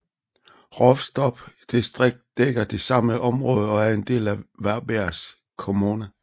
Rolfstorps distrikt dækker det samme område og er en del af Varbergs kommun